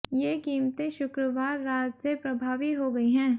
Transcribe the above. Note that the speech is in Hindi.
ये क़ीमते शुक्रवार रात से प्रभावी हो गई हैं